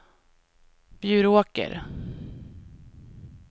Bjuråker